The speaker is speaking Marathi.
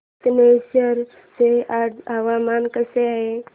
कातनेश्वर चे आज हवामान कसे आहे